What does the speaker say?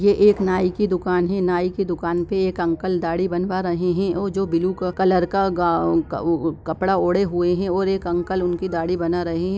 ये एक नाई की दुकान है नाई की दुकान पे एक अंकल दाढ़ी बनवा रहे है ओ जो ब्लू का कलर का गाउ उ कपड़ा ओढ़े हुए है और एक अंकल दाढ़ी बना रहे है।